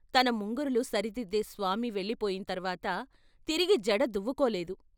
తన ముంగురులు సరిదిద్దే స్వామి వెళ్లిపోయిం తర్వాత తిరిగి జడ దువ్వుకోలేదు.